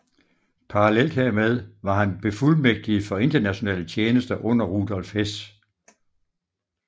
Parallelt hermed var han befuldmægtiget for internationale tjenester under Rudolf Hess